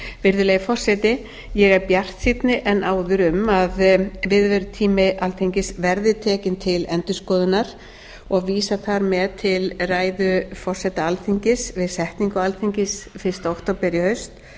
virðulegi forseti ég er bjartsýnni en áður um að viðverutími alþingis verði tekinn til endurskoðunar og vísa þar með til ræðu forseta alþingis við setningu alþingis fyrsta október í haust